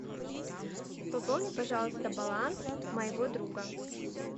пополни пожалуйста баланс моего друга